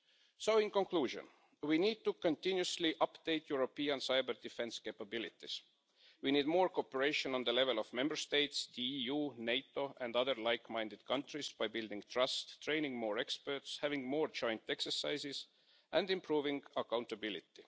So in conclusion, we need to continuously update European cyber-defence capabilities. We need more cooperation at the level of Member States, the EU, NATO and other like minded countries by building trust, training more experts, having more joint exercises and improving accountability.